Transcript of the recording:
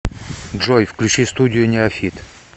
джой включи студию неофит